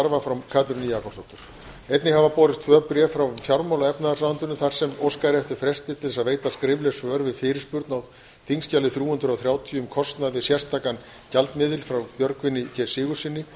kynningarstarfa frá katrínu jakobsdóttur einnig hafa borist tvö bréf frá fjármála og efnahagsráðuneytinu þar sem óskað er eftir fresti til að veita skrifleg svör við fyrirspurn á þingskjali þrjú hundruð og þrjátíu um kostnað við sérstakan gjaldmiðil frá björgvini g sigurðssyni